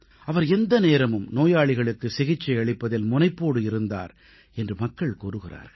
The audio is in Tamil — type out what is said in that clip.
அவர் எந்த நேரமும் நோயாளிகளுக்கு சிகிச்சை அளிப்பதில் முனைப்போடு இருந்தார் என்று மக்கள் கூறுகிறார்கள்